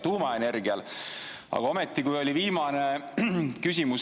tuumaenergial.